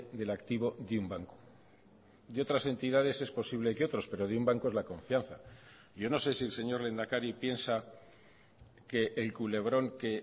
del activo de un banco de otras entidades es posible que otros pero de un banco es la confianza yo no sé si el señor lehendakari piensa que el culebrón que